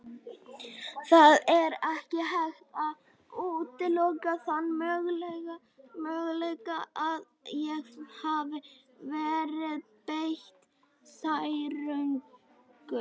Það er ekki hægt að útiloka þann möguleika að ég hafi verið beitt særingum.